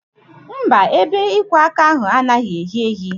Mba, ebe ịkwọ aka ahụ anaghị ehi ehi